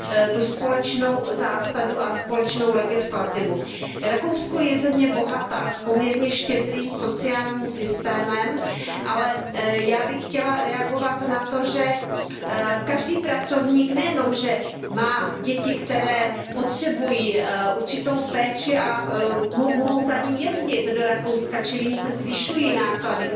tu společnou zásadu a společnou legislativu. Rakousko je země bohatá, s poměrně štědrým sociálním systémem, ale já bych chtěla reagovat na to, že každý pracovník nejenom, že má děti, které potřebují určitou péči, ale mohou za ním jezdit do Rakouska, čili jim se zvyšují náklady.